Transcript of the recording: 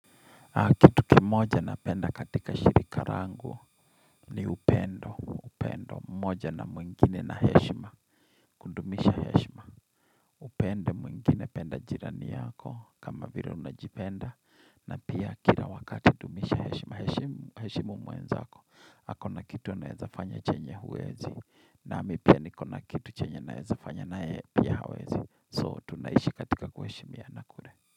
Kitu kimoja napenda katika shirika langu ni upendo, upendo, mmoja na mwingine na heshima, kudumisha heshima upende mwingine penda jirani yako kama vila unajipenda na pia kila wakati dumisha heshima heshimu mwenzako, ako na kitu anaezafanya chenye huwezi nami pia nikona kitu chenye naezafanya naye pia hawezi So tunaishi katika kuheshimiana kule.